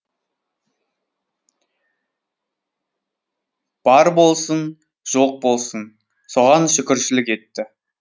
бар болсын жоқ болсын соған шүкіршілік етті